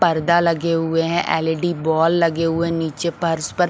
पर्दा लगे हुए है एल_इ_डि बॉल लगे हुए है नीचे पर्स पर--